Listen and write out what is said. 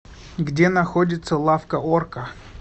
где находится лавка орка